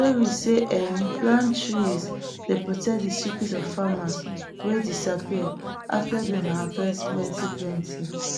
stories sey um plant trees dey protect de secrets of farmers wey disappear after dem harvest plenty plenty